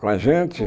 Com a gente?